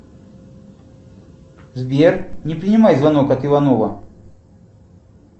сбер не принимай звонок от иванова